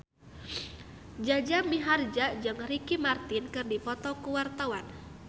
Jaja Mihardja jeung Ricky Martin keur dipoto ku wartawan